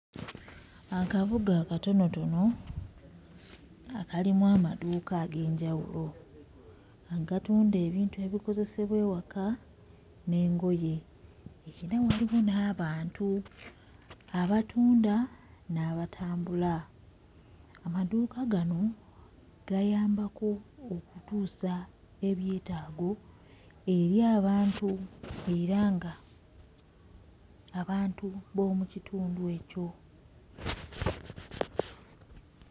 Akabuga akatonotono akalimu amaduuka ag'enjawulo agatunda ebintu ebikozesebwa ewaka n'engoye era waliwo n'abantu abatunda n'abatambula amaduuka gano gayambako okutuusa ebyetaago eri abantu era nga abantu b'omu kitundu ekyo.